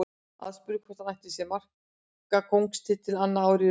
Aðspurður hvort hann ætli sér markakóngstitilinn annað árið í röð.